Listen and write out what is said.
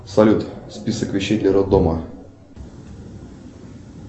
салют список вещей для роддома